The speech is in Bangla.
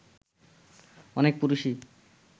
অনেক পুরুষই